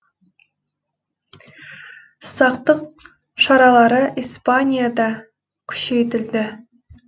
сақтық шаралары испанияда күшейтілді